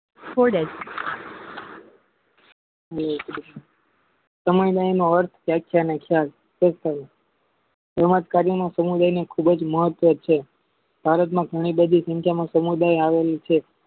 સમય ગાળાનો અર્થ એવાજ કાર્યના સમુદાયનો ખુબ જ મહત્વ છે ભારતમાં ઘણી બધી સમુદાય આવેલી છે